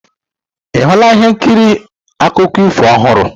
Ị hụla ihe nkiri akụkọ ifo ọhụrụ?